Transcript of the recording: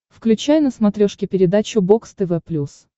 включай на смотрешке передачу бокс тв плюс